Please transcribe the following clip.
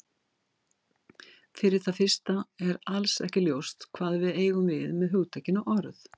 Fyrir það fyrsta er alls ekki ljóst hvað við eigum við með hugtakinu orð.